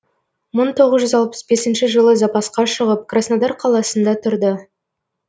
мың тоғыз жүз алпыс бесінші жылы запасқа шығып краснодар қаласында тұрды